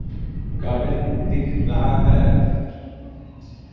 Garden दिख रहा है।